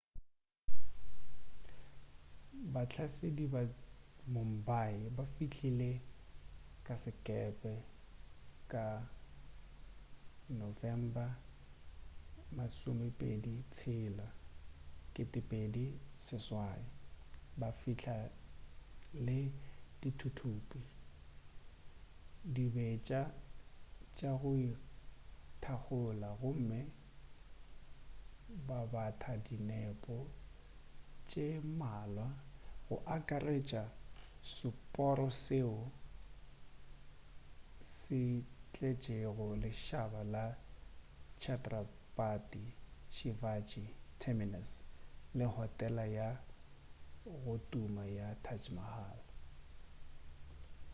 bahlasedi ba mumbai ba fihlile ka sekepe ka november 26 2008 ba fihla le dithuthupi dibetša tša go ithakgola gomme ba batha dinepo tše mmalwa go akaretša le seporo seo se tletšego lešhaba sa chhatrapati shivaji terminus le hotela ya go tuma ya taj mahal